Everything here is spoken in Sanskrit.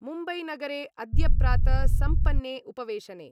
मुम्बैनगरे अद्य प्रात सम्पन्ने उपवेशने